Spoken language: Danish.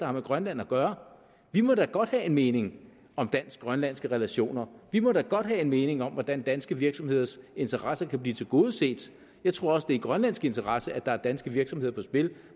har med grønland at gøre vi må da godt have en mening om dansk grønlandske relationer vi må da godt have en mening om hvordan danske virksomheders interesser kan blive tilgodeset jeg tror også det er i grønlandsk interesse at der er danske virksomheder på spil